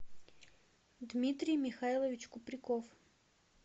дмитрий михайлович купряков